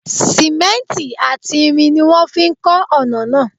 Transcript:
Sìmẹ́ǹtì àti irin ni wọ́n fi ń kọ́ ọ̀nà náà.